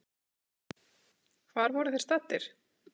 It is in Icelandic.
Hvar voru þeir staddir?